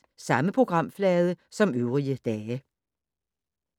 Samme programflade som øvrige dage